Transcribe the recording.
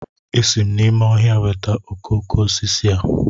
Esi m n'ime ọhịa weta okoko osisi a